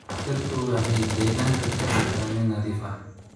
Dhirtu waxay deegaanka ka dhigtaa mid nadiif ah.